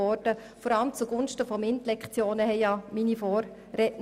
Vor allem die MINT-Fächer sollen gestärkt werden.